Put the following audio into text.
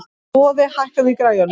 Boði, hækkaðu í græjunum.